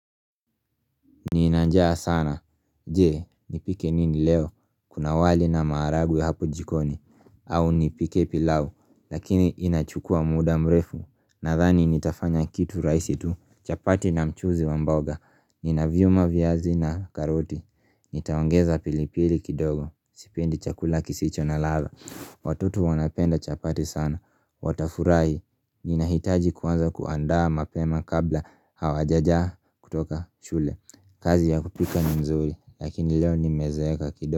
Nina njaa sana, je, nipike nini leo, kuna wali na marahagwe hapo jikoni, au nipike pilau, lakini inachukua muda mrefu, nadhani nitafanya kitu rahisi tu, chapati na mchuzi wamboga, nina vyuma viazi na karoti, nitaongeza pilipili kidogo, sipendi chakula kisicho na ladha Watoto wanapenda chapati sana, watafurahi, nina hitaji kuanza kuandaa mapema kabla hawajaja kutoka shule kazi ya kupika ni nzuri, lakini leo ni mezeeka kido.